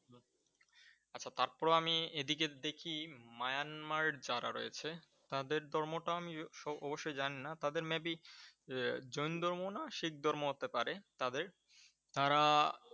তারপরেও আমি এদিকে দেখি মায়ানমার যারা রয়েছে, তাদের ধর্ম টা আমি অবশ্যই জানি না তাদের Maybe আহ জৈন ধর্ম না শিখ ধর্ম হতে পারে তাদের। তারা